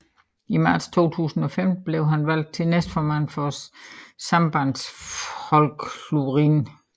I marts 2015 blev han valgt til næstformand for Sambandsflokkurin